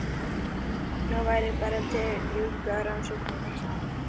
Nú væri bara að ljúka rannsókninni.